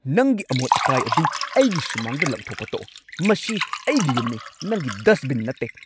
ꯅꯪꯒꯤ ꯑꯃꯣꯠ-ꯑꯀꯥꯏ ꯑꯗꯨ ꯑꯩꯒꯤ ꯁꯨꯃꯥꯡꯗ ꯂꯪꯊꯣꯛꯄ ꯇꯣꯛꯑꯣ꯫ ꯃꯁꯤ ꯑꯩꯒꯤ ꯌꯨꯝꯅꯤ, ꯅꯪꯒꯤ ꯗꯁꯠꯕꯤꯟ ꯅꯠꯇꯦ!